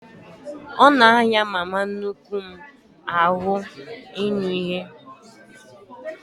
Ọ na ahịa mama nnukwu m ahụ ịnụ ihe